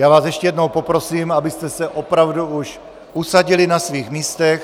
Já vás ještě jednou poprosím, abyste se opravdu už usadili na svých místech.